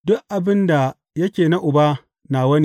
Duk abin da yake na Uba nawa ne.